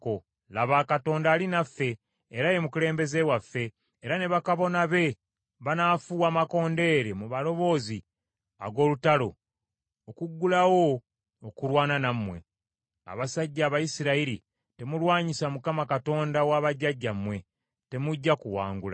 Laba, Katonda ali naffe, era ye mukulembeze waffe, era ne bakabona be banaafuuwa amakondeere mu maloboozi ag’olutalo, okuggulawo okulwana nammwe. Abasajja Abayisirayiri temulwanyisa Mukama , Katonda wa bajjajjammwe, temujja kuwangula.”